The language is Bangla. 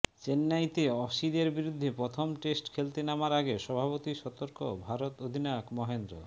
চেন্নাইতে অসিদের বিরুদ্ধে প্রথম টেস্ট খেলতে নামার আগে স্বভাবতই সতর্ক ভারত অধিনায়ক মহেন্দ্র